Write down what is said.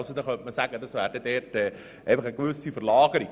Somit hätte man einfach eine Verlagerung.